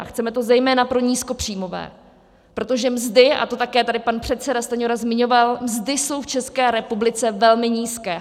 A chceme to zejména pro nízkopříjmové, protože mzdy, a to tady také pan předseda Stanjura zmiňoval, mzdy jsou v České republice velmi nízké.